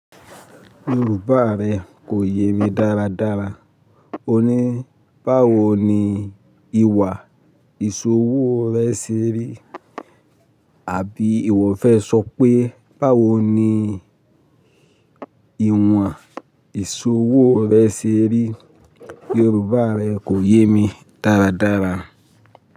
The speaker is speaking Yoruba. Yorùbá rẹ kò yé mi dáradára. O ní, báwo ni ìwà ìṣòwò rẹ ṣe rí? Àbí ìwọ fẹ́ sọ pé, báwo ní ìwọ̀n ìṣòwò rẹ ṣe rí? Yorùbá rẹ kò yé mi dáradára.